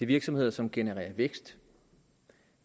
virksomheder som genererer vækst